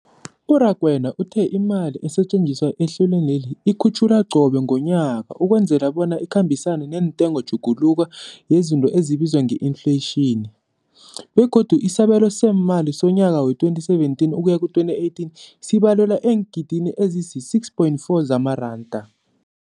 U-Rakwena uthe imali esetjenziswa ehlelweneli ikhutjhulwa qobe ngomnyaka ukwenzela bona ikhambisane nentengotjhuguluko yezinto ebizwa nge-infleyitjhini, begodu isabelo seemali somnyaka we-2017 ukuya ku-2018 sibalelwa eengidini ezisi-6.4 zamaranda.